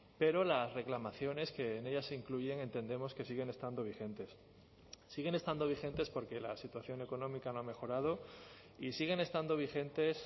pero las reclamaciones que en ella se incluyen entendemos que siguen estando vigentes siguen estando vigentes porque la situación económica no ha mejorado y siguen estando vigentes